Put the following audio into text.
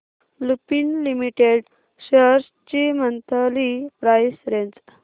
Lupin limited shares ची monthly price range